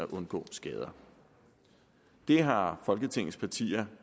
undgå skader det har folketingets partier